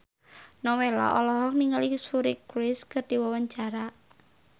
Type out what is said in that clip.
Nowela olohok ningali Suri Cruise keur diwawancara